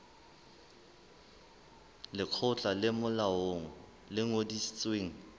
lekgotla le molaong le ngodisitsweng